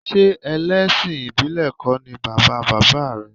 Ṣé ẹlẹ́sìn ìbílẹ̀ kọ́ ni bàba bàbá rẹ̀?